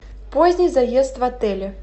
поздний заезд в отеле